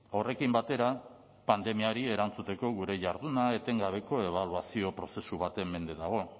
horrekin batera pandemiari erantzuteko gure jarduna etengabeko ebaluazio prozesu baten mende dago